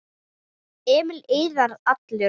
Emil iðaði allur.